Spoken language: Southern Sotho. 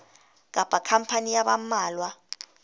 kapa khampani ya ba mmalwa